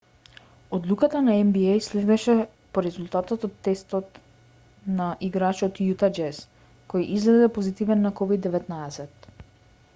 одлуката на нба следеше по резултатот од тестот на играч од јута џез кој излезе позитивен на ковид-19